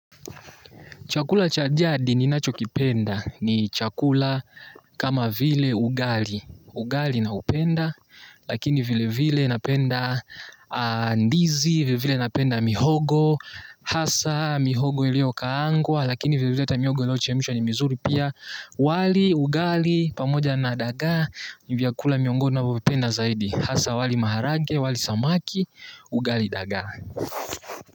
Chakula cha jadi ninachokipenda ni chakula kama vile ugali, ugali naupenda, lakini vile vile napenda ndizi, vile vile napenda mihogo, hasa mihogo iliyokaangwa, lakini vile vile hata mihogo iliyochemshwa ni mizuri pia wali ugali pamoja na dagaa, ni vyakula miongoni navyovipenda zaidi, hasa wali maharage, wali samaki, ugali daga.